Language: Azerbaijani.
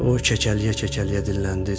O kəkələyə-kəkələyə dilləndi.